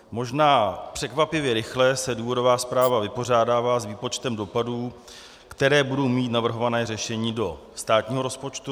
Možná překvapivě rychle se důvodová zpráva vypořádává s výpočtem dopadů, které budou mít navrhovaná řešení do státního rozpočtu.